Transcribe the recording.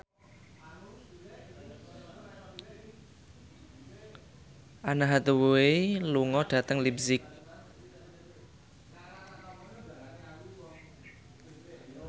Anne Hathaway lunga dhateng leipzig